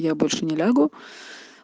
я больше не лягу